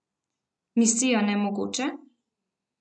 Misija nemogoče?